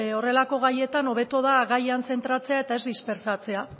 horrelako gaietan hobeto da gaian zentratzea eta ez dispertsatzea